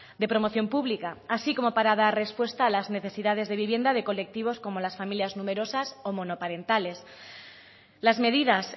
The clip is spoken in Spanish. de promoción pública así como para dar respuesta a las necesidades de vivienda de colectivos como las familias numerosas o monoparentales las medidas